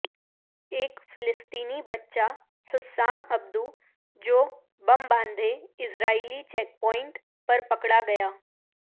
ایک فلسطینی بچہ حسام ابدو جو بم باندھے اسرائیلی چیک پوائنٹ پر پکڑا گیا